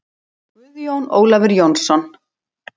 Guðjón Ólafur Jónsson